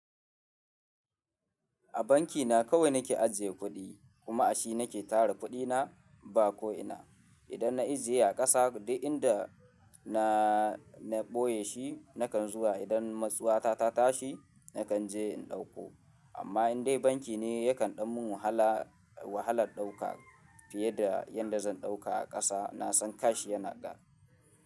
A banki na kawai na ke ajiye kuɗi kuma a shi na ke tara kuɗi na ba ko ina. Idan na ijiye a ƙasa, duk inda na, na ɓoye shi, na kan zuwa idan matsawa ta, ta tashi, na kan je in ɗauko. Amma in dai banki ne ya kan ɗan mun wahala, wahalar ɗauka fiye da yanda zan ɗauka a ƙasa. Na san kash yana da.